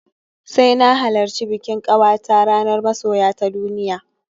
Sai na halarci bikin ƙawata ranar Masoya ta duniya